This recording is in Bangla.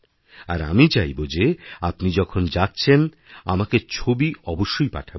আর আমি চাইব যে আপনিযখন যাচ্ছেন আমাকে ছবি অবশ্যই পাঠাবেন